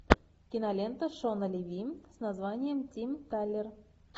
кинолента шона леви с названием тим талер